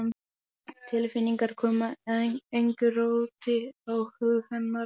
Tilfinningarnar koma engu róti á hug hennar.